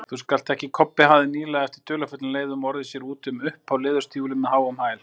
Kobbi hafði nýlega, eftir dularfullum leiðum, orðið sér úti um upphá leðurstígvél með háum hæl.